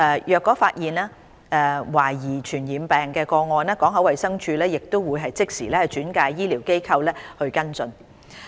如發現懷疑傳染病個案，港口衞生處亦會即時轉介醫療機構跟進。